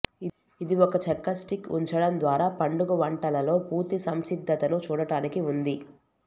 ఇది ఒక చెక్క స్టిక్ ఉంచడం ద్వారా పండుగ వంటలలో పూర్తి సంసిద్ధతను చూడటానికి ఉంది